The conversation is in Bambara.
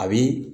A bi